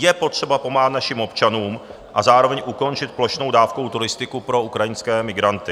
Je potřeba pomáhat našim občanům a zároveň ukončit plošnou dávkovou turistiku pro ukrajinské migranty.